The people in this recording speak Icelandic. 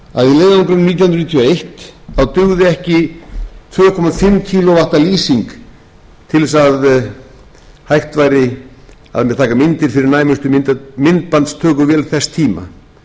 og eitt dugði ekki tvö komma fimm á lýsing til þess að hægt væri að taka myndir fyrir næmustu myndbandstökuvél þess tíma